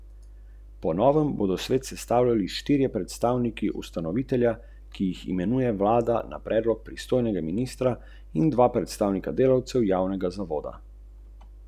Projekt sofinancira agencija za varnost prometa.